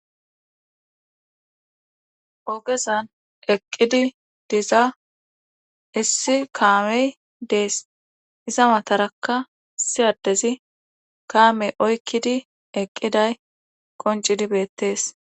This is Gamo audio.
ogezan eqqidi diza issi kaamey dees iza matarakka siyaddezi kaamey oykkidi eqqiday qoncidibeettees